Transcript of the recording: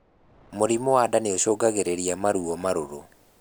Mũrimũ wa ndaa niucungagirirĩa maruo marũrũ